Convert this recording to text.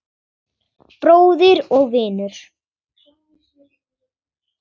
Bróðir og vinur.